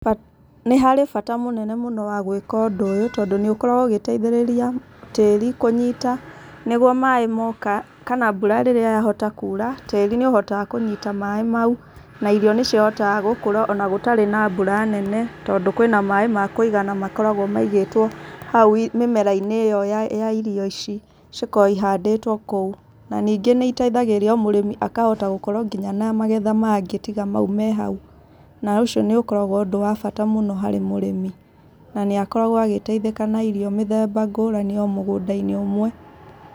Nĩ harĩ bata mũnene mũno wa gwĩka ũndũ ũyũ tondũ nĩ ũkoragwo ũgĩteithĩrĩria tĩri kũnyita, nĩguo maĩ moka, kana mbura rĩrĩa yahota kuura, tĩri nĩ ũhotaga kũnyita maĩ mau, na irio nĩ cihotaga gũkũra ona gũtarĩ na mbura nene, tondũ kwĩna maĩ ma kũigana makoragwo maigĩtwo hau mĩmera-inĩ ĩyo ya ya irio ici cikoragwo ihandĩtwo kũu. Na ningĩ nĩ iteithagĩrĩria o mũrĩmi akahota nginya gũkorwo na magetha mangĩ tiga mau me hau. Na ũcio nĩ ũkoragwo ũndũ wa bata mũno harĩ mũrĩmi na nĩ akoragwo agĩteithĩka na irio mĩthemba ngũrani o mũgũnda-inĩ ũmwe.